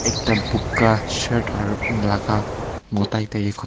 ekta boga shirt aru laga mota ekta ke khoi.